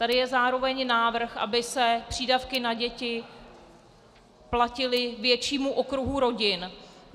Tady je zároveň návrh, aby se přídavky na děti platily většímu okruhu rodin.